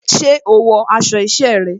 Ṣé o wọ aṣọ isẹ́ rẹ?